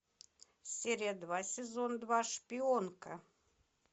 серия два сезон два шпионка